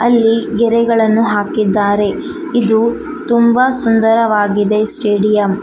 ಅಲ್ಲಿ ಗೆರೆಗಳನ್ನು ಹಾಕಿದ್ದಾರೆ ಇದು ತುಂಬಾ ಸುಂದರವಾಗಿದೆ ಸ್ಟೇಡಿಯಂ